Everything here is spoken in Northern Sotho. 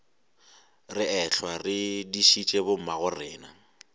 re ehlwa re dišitše bommagorena